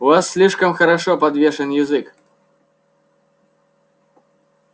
у вас слишком хорошо подвешен язык